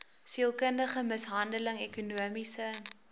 sielkundige mishandeling ekonomiese